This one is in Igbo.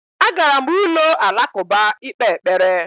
agara m ulo alakụba ikpe ekpere